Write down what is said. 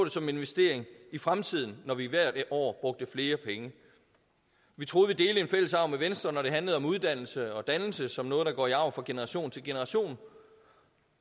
som en investering i fremtiden når vi hvert år brugte flere penge vi troede vi delte en fælles arv med venstre når det handlede om uddannelse og dannelse som noget der går i arv fra generation til generation